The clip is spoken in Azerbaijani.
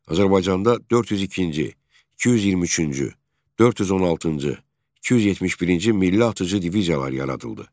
Azərbaycanda 402-ci, 223-cü, 416-cı, 271-ci milli atıcı diviziyalar yaradıldı.